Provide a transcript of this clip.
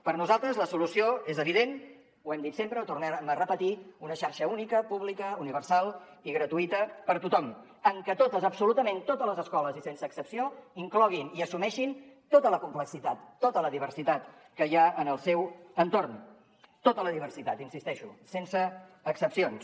per nosaltres la solució és evident ho hem dit sempre ho tornem a repetir una xarxa única pública universal i gratuïta per a tothom en què totes absolutament totes les escoles i sense excepció incloguin i assumeixin tota la complexitat tota la diversitat que hi ha en el seu entorn tota la diversitat hi insisteixo sense excepcions